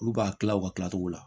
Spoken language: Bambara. Olu b'a kila u ka kilacogo la